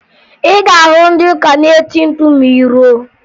Ị ga-ahụ ndị ụka na-eti mkpu ma ị ruo